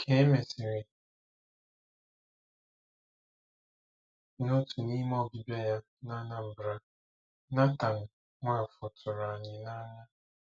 Ka e mesịrị, n'otu n'ime ọbịbịa ya na Anambra, Nathan Nwafor tụrụ anyị n'anya.